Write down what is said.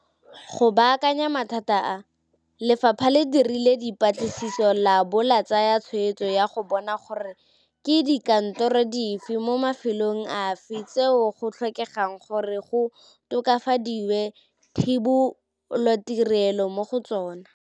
Go baakanya mathata a, Lefapha le dirile dipatlisiso labo la tsaya tshwetso ya go bona gore ke dikantoro dife mo mafelong afe tseo go tlhokegang gore go tokafadiwe thebolotirelo mo go tsona.